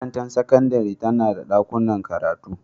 Makarantar sakandare tana da dakunan karatu.